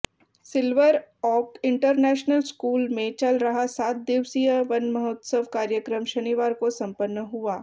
silver Oak International School में चल रहा सात दिवसीय वनमहोत्सव कार्यक्रम शनिवार को संपन्न हुआ